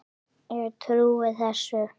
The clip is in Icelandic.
Ég trúi þessu.